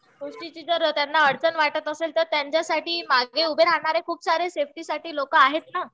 गोष्टीची जर त्यांना अडचण वाटत असेल तर त्यांच्यासाठी मागे उभं राहणारे खूप सारे सेफ्टीसाठी लोकं आहेत ना.